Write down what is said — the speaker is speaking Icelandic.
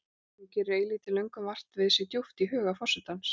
Nú gerir eilítil löngun vart við sig djúpt í huga forsetans.